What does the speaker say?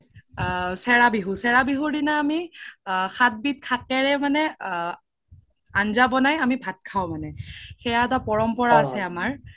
আ চেৰা বিহু, চেৰা বিহুৰ দিনা আমি সাত বিধ শাকেৰে মানে আ আন্জা বনাই ভাত খাও মানে সেয়া এটা পৰম্পৰা আছে আমাৰ